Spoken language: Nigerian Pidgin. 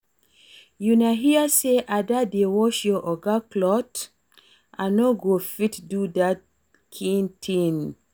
Una hear say Ada dey wash our Oga cloth? I no go fit do dat kin thing